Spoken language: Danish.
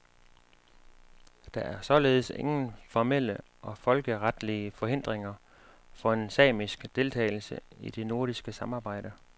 Der er således ingen formelle og folkeretlige forhindringer for en samisk deltagelse i det nordiske samarbejde.